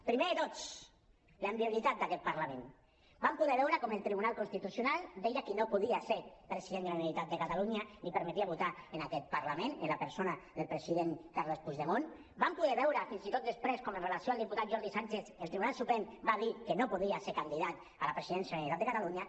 primer de tots la inviolabilitat d’aquest parlament vam poder veure com el tribunal constitucional deia qui no podia ser president de la generalitat de catalunya ni permetia votar en aquest parlament la persona del president carles puigdemont vam poder veure fins i tot després com en relació amb el diputat jordi sànchez el tribunal suprem va dir que no podia ser candidat a la presidència de la generalitat de catalunya